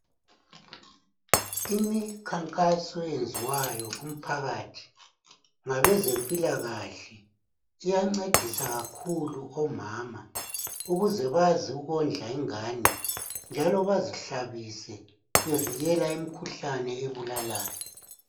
Imikhankaso eyenziwayo kumphakathi ngabezempilakahle. Iyancedisa kakhulu omama ukuze bazi ukondla ingane njalo bazihlabise bevikela imikhuhlane ebulalayo.